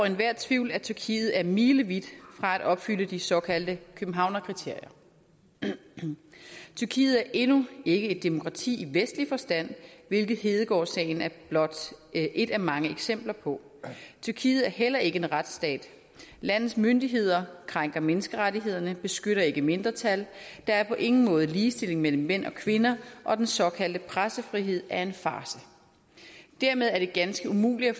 enhver tvivl at tyrkiet er milevidt fra at opfylde de såkaldte københavnskriterier tyrkiet er endnu ikke et demokrati i vestlig forstand hvilket hedegaardsagen er blot et af mange eksempler på tyrkiet er heller ikke en retsstat landets myndigheder krænker menneskerettighederne beskytter ikke mindretal der er på ingen måde ligestilling mellem mænd og kvinder og den såkaldte pressefrihed er en farce dermed er det ganske umuligt at